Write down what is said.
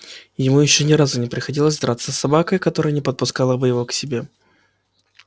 его ещё ни разу не приходилось драться с собакой которая не подпускала бы его к себе